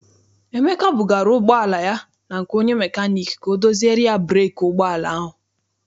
Emeka bugara ụgbọala ya na nke onye mekaniiki ka ọ doziere ya breeki ụgbọala ahụ.